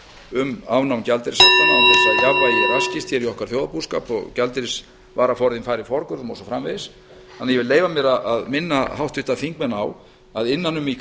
um afnám gjaldeyrishaftanna án þess að jafnvægi raskist hér í okkar þjóðarbúskap og gjaldeyrisvaraforðinn fari forgörðum og svo framvegis þannig að ég vil leyfa mér að minna háttvirtir þingmenn á að innan um í